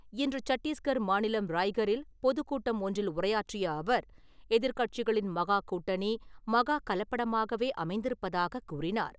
இன்று சட்டீஸ்கர் மாநிலம் ராய்கரில் பொதுக்கூட்டம் ஒன்றில் உரையாற்றிய அவர், எதிர் கட்சிகளின் மகா கூட்டணி, மகா கலப்படமாகவே அமைந்திருப்பதாகக் கூறினார்.